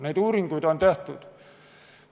Neid uuringuid on tehtud.